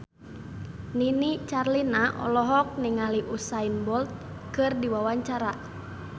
Nini Carlina olohok ningali Usain Bolt keur diwawancara